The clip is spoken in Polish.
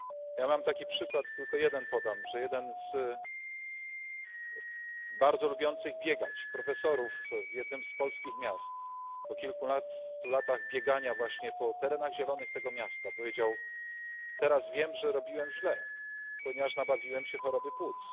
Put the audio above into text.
Ja mam taki przykład, tylko jeden podam, że jeden z bardzo lubiących biegać profesorów w jednym z polskich miast po kilkunastu latach biegania właśnie po terenach zielonych tego miasta powiedział teraz wiem, że robiłem źle, ponieważ nabawiłem się choroby płuc.